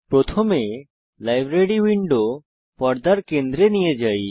প্রথমে library window পর্দার কেন্দ্রে নিয়ে যাই